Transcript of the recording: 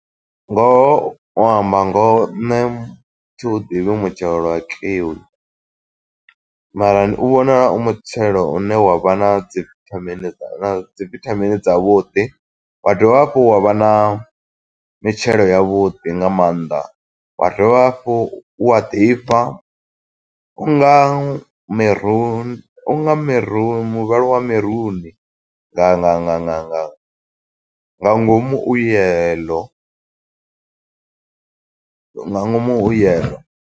Ngoho u amba ngoho, nṋe thi u ḓivhi mutshelo wa kiwi, mara u vhonala u mutshelo une wa vha na dzi vithamini dza dzi vithamini dza vhuḓi. Wa dovha hafhu wa vha na mitshelo ya vhuḓi nga maanḓa. Wa dovha hafhu wa ḓifha, unga miru unga miru muvhala wa maruni nga nga nga nga nga nga ngomu u yellow. Nga ngomu hu yellow.